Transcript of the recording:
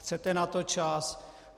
Chcete na to čas?